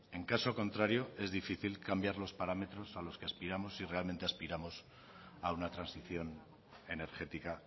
en caso contrario es difícil cambiar los parámetros a los que aspiramos si realmente aspiramos a una transición energética